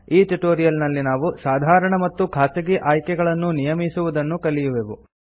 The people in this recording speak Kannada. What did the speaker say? ಈ ಟ್ಯುಟೋರಿಯಲ್ ನಲ್ಲಿ ನಾವು ಸಾಧಾರಣ ಮತ್ತು ಖಾಸಗಿ ಆಯ್ಕೆಗಳನ್ನು ನಿಯಮಿಸುವುದನ್ನು ಕಲಿಯುವೆವು